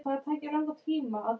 Bara haldið mig heima!